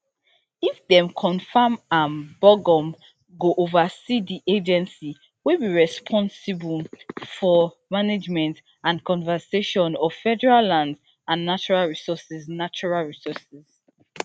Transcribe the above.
if dem confam am burgum go oversee di agency wey dey responsible for management and conservation of federal lands and natural resources natural resources